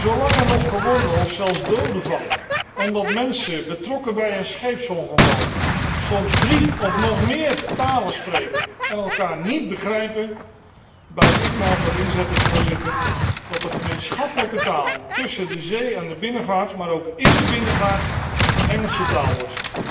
Zolang er nog gewonden of zelfs doden vallen omdat de betrokkenen bij een scheepsongeval soms drie of nog meer talen spreken en elkaar niet begrijpen, blijf ik me ervoor inzetten, Voorzitter, dat de gemeenschappelijke taal tussen de zee en de binnenvaart, maar ook in de binnenvaart de Engelse taal wordt.